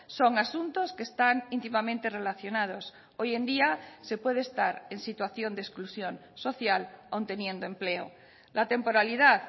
son asuntos que están íntimamente relacionados hoy en día se puede estar en situación de exclusión social aun teniendo empleo la temporalidad